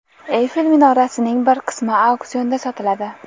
Eyfel minorasining bir qismi auksionda sotiladi.